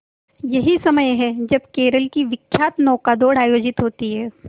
यही समय है जब केरल की विख्यात नौका दौड़ आयोजित होती है